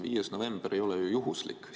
5. november ei ole ju juhuslik kuupäev.